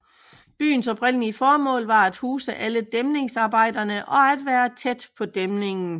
Byens oprindelige formål var at huse alle dæmningsarbejderne og at være tæt på dæmningen